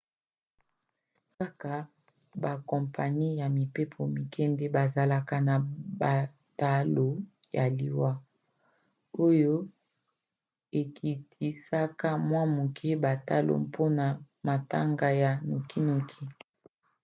kaka bakompani ya mpepo mike nde bazalaka na batalo ya liwa oyo ekitisaka mwa moke batalo mpona matanga ya nokinoki